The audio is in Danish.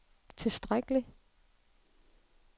tilstrækkelig